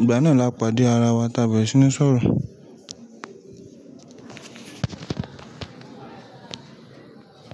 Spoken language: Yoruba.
ìgbà náà là pàdé ara wa tá a bẹ̀rẹ̀ sí ní sọ̀rọ̀.